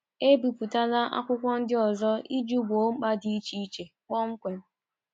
Ebipụtala akwụkwọ ndị ọzọ iji gboo mkpa dị iche iche kpọmkwem.